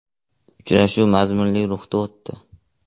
Uchrashuv mazmunli ruhda o‘tdi.